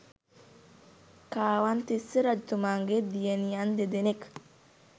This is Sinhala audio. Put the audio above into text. කාවන්තිස්ස රජතුමාගේ දියණියන් දෙදෙනෙක්